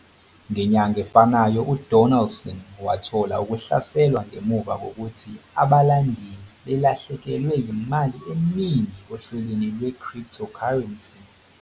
Ngenyanga efanayo, uDonaldson wathola ukuhlaselwa ngemuva kokuthi abalandeli belahlekelwe yimali eningi ohlelweni lwe-cryptocurrency